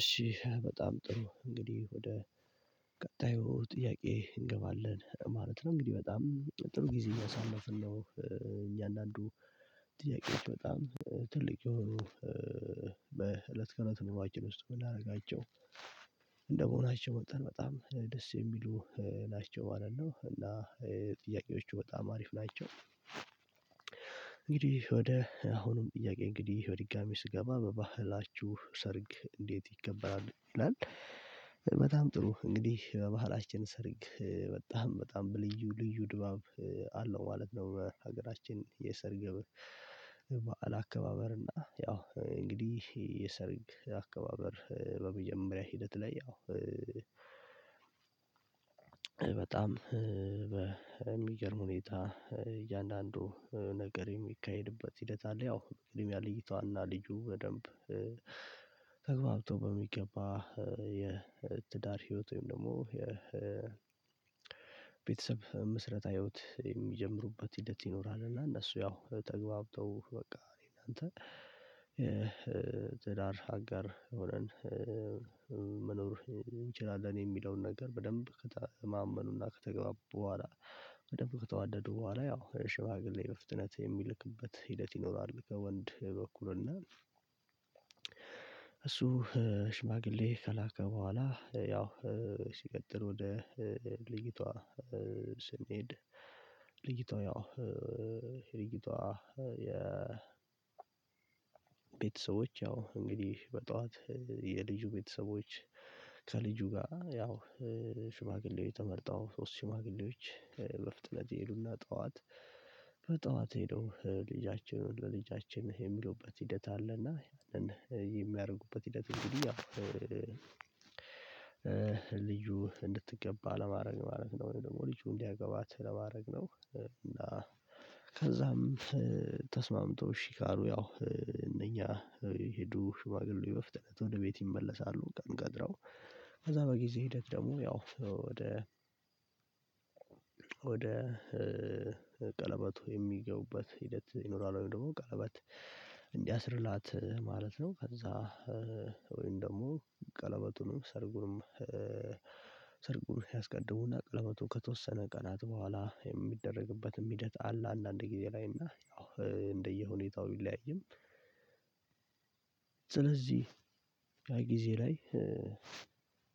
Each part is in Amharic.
እሺ በጣም ጥሩ እንግዲህ ወደ ቀጣዩ ጥያቄ እንገባለን ማለት ነው እንግዲህ በጣም ጥሩ ጊዜ እያሳለፍን ነው። እያንዳንዱ ጥያቄዎች በጣም ትልቅ የሆኑ በእለት ከለት ኑሯችን ውስጥ የምናደርጋቸው እንደመሆናቸው መጣን በጣም ደስ የሚሉ ናቸው ማለት ነው እና ጥያቄዎቹ በጣም አሪፍ ናቸው። እንግዲህ ወደ አሁንም ጥያቄ እንግዲህ በድጋሚ ስገባ በባህላችሁ ሰርግ እንዴት ይከበራል ይላል? በጣም ጥሩ እንግዲህ በባህላችን ሰርግ በጣም በጣም በልዩ ልዩ ድባብ አለው ማለት ነው። በሀገራችን የእስር ግብር በዓል አከባበር እና ያው እንግዲህ የሰርግ አከባበር በመጀመሪያ ሂደት ላይ ያው በጣም በሚገርም ሁኔታ እያንዳንዱ ነገር የሚካሄድበት ሂደት አለ። ያው ቅድሚያ ያለ ልጅቷ እና ልጁ በደንብ ተግባብቶ በሚገባ የትዳር ህይወት ወይም ደግሞ የቤተሰብ ምስረታ ህይወት የሚጀምሩበት ሂደት ይኖራል። እና እነሱ ያው ተግባብተው በቃ እኔ እነና አንተ የትዳር አጋር ሆነን መኖር እንችላለን የሚለውን ነገር በደንብ ከተማመኑና ከተገባ በኋላ በደንብ ከተዋደዱ በኋላ ያው ሽማግሌ በፍጥነት የሚልክበት ሂደት ይኖራል። ከወንድ በኩል እና እሱ ሽማግሌ ከላከ በኋላ ያው ሲቀጥል ወደ ልጅቷ ስንሄድ ልጅቷ ያው የልጅቷ ቤተሰቦች ያው እንግዲህ በጠዋት የልጁ ቤተሰቦች ከልጁ ጋር ያው ሽማግሌ ተመረጠው ሶስት ሽማግሌዎች በፍጥነት ይሄዱና ጠዋት በጠዋት ሄደው ልጃችሁን ለልጃችን የሚሉበት ሂደት አለና ያንን የሚያደርጉበት ሂደት እንግዲህ ያው ልጁ እንድትገባ ለማድረግ ማድረግ ነው ወይም ደግሞ ልጁ እንዲያገባት ለማድረግ ነው። እና ከዛም ተስማምቶ እሺ ካሉ ያው እነኛ የሄዱ ሽማግሌዎች በፍጥነት ወደ ቤት ይመለሳሉ ቀን ቀጥረው ከዛ በጊዜ ሂደት ደግሞ ያው ወደ ወደ ቀለበቱ የሚገቡበት ሂደት ይኖራል። ወይም ደግሞ ቀለበት እንዲያስርላት ማለት ነው። ከዛ ወይም ደግሞ ቀለበቱንም ሰርጉንም ሰርጉን ያስቀድሙና ቀለበቱ ከተወሰነ ቀናት በኋላ የሚደረግበትም ሂደት አለ። አንዳንድ ጊዜ ላይ እና ያው እንደየሁኔታው ብለያይም ስለዚህ ያ ጊዜ ላይ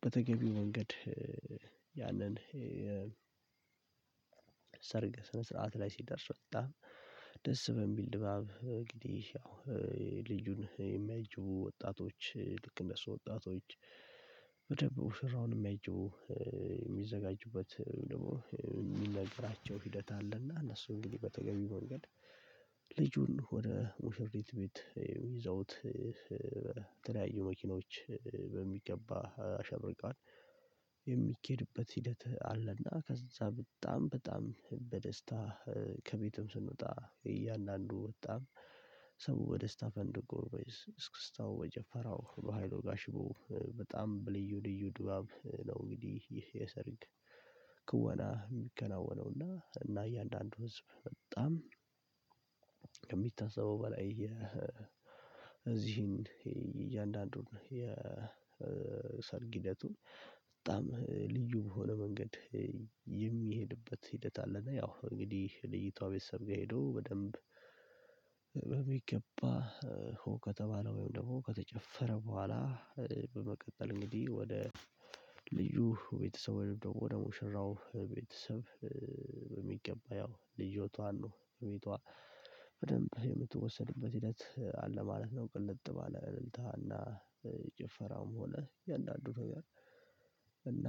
በተገቢው መንገድ ያንን ሰርግ ስነ ስርዓት ላይ ሲደርስ በጣም ደስ በሚል ድባብ እንግዲህ ያው ልጁን የሚያጅቡ ወጣቶች ልክ እንደሱ ወጣቶች በደንብ ሙሽራውን የሚያጅቡ የሚዘጋጁበት ደግሞ ሂደት አለና እነሱ እንግዲህ በተገቢ መንገድ ልጁን ወደ ሙሽሪት ቤት ይዘውት በተለያዩ መኪኖች በሚገባ አሸብርቃ ሂደት አለና ከዛ በጣም በጣም በደስታ ከቤቱም ስንወጣ እያንዳንዱ በጣም ሰው በደስታ ፈንድቆ በእስክስታው በጭፈራው በሃይሎጋ ሽቦ በጣም በልዩ ልዩ ድባብ ነው እንግዲህ ይሄ የሰርንግ ክወና የሚከናወነው እና እና እያንዳንዱ ህዝብ በጣም ከሚታሰበው በላይ የዚህን እያንዳንዱን የሰርግ ህደቱን በጣም ልዩ በሆነ መንገድ የሚሄድበት ሂደት አለ። እና ያው እንግዲህ የልጅቷ ቤተሰብ ጋር ሄዶ በደንብ በሚገባ ከተባለው ወይም ደግሞ ከተጨፈረ በኋላ በመቀጠል እንግዲህ ወደ ልዩ ቤተሰብ ወይም ደግሞ ወደ ሙሽራው ቤተሰብ በሚገባ ያው ልጅቷ አሉ ቤቷ በደንብ የምትወሰድበት ሂደት አለ ማለት ነው። ቅልጥ ባለ እልልታና ጭፈራውም ሆነ እንዳንዱ ነገር እና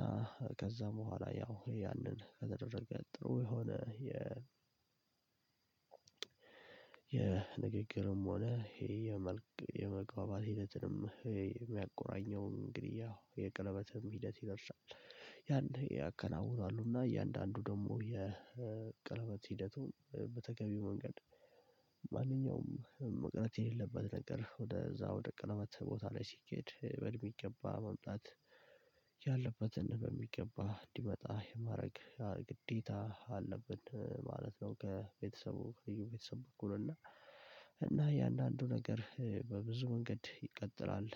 ከዛ በኋላ ያው ያንን ከተደረገ ጥሩ የሆነ የ የንግግርም ሆነ ይሄ የመግባባት ሂደትንም ይሄ የሚያቆራኘውን እንግዲህ ያው የቀለበትም ሂደት ይደርሳል ያን ያከናውናሉ እና እያንዳንዱ ደግሞ የቀለበት ሂደቱን በተገቢው መንገድ ማንኛውም መቅረት የሌለበት ነገር ወደዛ ወደ ቀለበት ቦታ ላይ ሲኬድ በሚገባ መምጣት ያለበትን በሚገባ እንዲመጣ የማድረግ ግዴታ አለብን ማለት ነው። ከቤተሰቡ ከልጁ ቤተሰብ በኩል እና እና የእያንዳንዱ ነገር በብዙ መንገድ ይቀጥላል